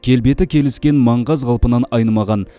келбеті келіскен маңғаз қалпынан айнымаған